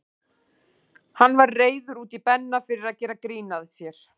Hann var reiður út í Benna fyrir að gera grín að sér.